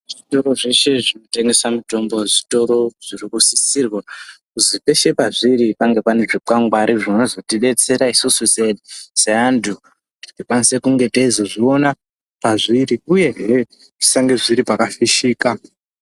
Zvitoro zveshe zvinotengesa mitombo, zvitoro zviri kusisirwa kuzi peshe pazviri pave pane zvikwangwari, zvinozotidetsera isisu